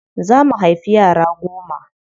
Za mu haifi yara goma.